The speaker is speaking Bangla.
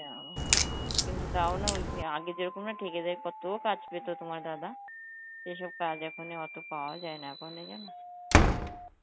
যাও হ্যাঁ কিন্তু তাও না ওই আগে যেরকম এক ঠিক আছে কত কাজ তোমার দাদা, এইসব কাজ এখনই অত পাওয়া যায় না এখন